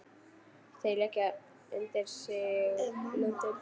Þeir leggja undir sig löndin!